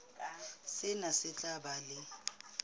sena se tla ba le